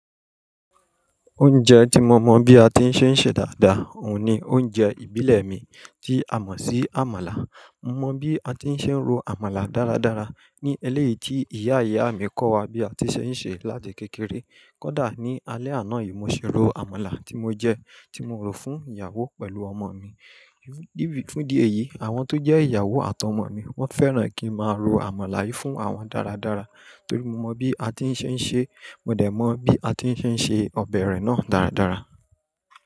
Oúnjẹ tí mo mọ̀ bí a ti ń ṣe ń ṣe dáadáa òun ni oúnjẹ ìbílẹ̀ mi, tí a mọ̀ sí àmàlà. Mo mọ̀ bí a ti ń ṣe ń ro àmàlà dáradára ní eléyìí tí ìyá ìyá mi kọ́ wa bí a ti ń ṣe ń ṣe láti kékeré. Kódà ní alẹ́ àná yìí mo ṣe ro àmàlà tí mo jẹ, tí mo ro fún ìyàwó pẹ̀lú ọmọ mi. Fún di èyí, àwọn tó jẹ́ ìyàwó àtàwọn ọmọ mi wọ́n fẹ́ràn kí n máa ro àmàlà yìí fún awọn dáradára torí mo mọ̀ bí a ti ń ṣe ń ṣe, mo dẹ̀ mọ̀ bí a ti ń ṣe ń ṣe ọbẹ̀ rẹ̀ náà dáradára.